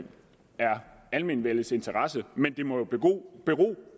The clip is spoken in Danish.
almenvellets interesse men det må jo bero